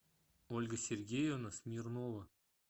ольга сергеевна смирнова